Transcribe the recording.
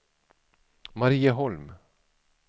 Marieholm